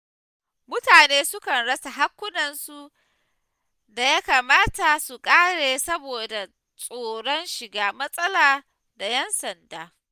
Mutane sukan rasa haƙƙunansu da ya kamata su kare saboda tsoron shiga matsala da ƴan sanda.